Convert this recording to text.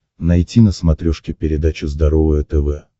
найти на смотрешке передачу здоровое тв